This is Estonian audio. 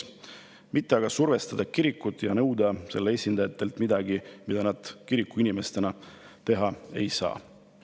Ei maksa kirikut survestades nõuda selle esindajatelt midagi, mida nad kirikuinimestena teha ei saa.